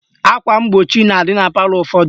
Akwa mgbochi na-adị na palọ ụfọdụ